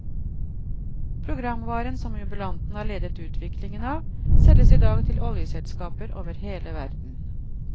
Programvaren som jubilanten har ledet utviklingen av, selges i dag til oljeselskaper over hele verden.